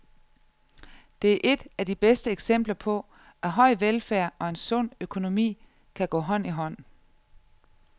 Det er et af de bedste eksempler på, at høj velfærd og en sund økonomi kan gå hånd i hånd.